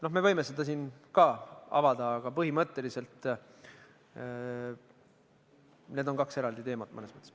No me võime seda siin ka arutada, aga põhimõtteliselt on need kaks eraldi teemat mõnes mõttes.